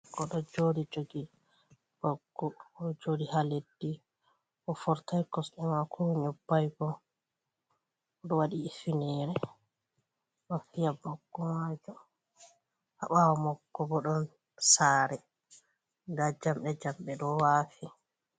Goɗɗo oɗɗo jodi joggi baggu. Oɗo joɗi ha leɗɗi. O fortai kosɗe mako o noibai bo. Oɗo waɗi ifinere oɗo fiya baggo majom ha bawomako bo ɗon sare. Nɗa jamɗe jamɗe ɗo wafi.